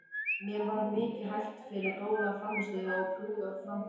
Mér var mikið hælt fyrir góða frammistöðu og prúða framkomu.